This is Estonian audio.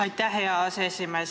Aitäh, hea aseesimees!